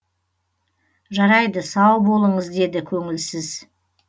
жарайды сау болыңыз деді көңілсіз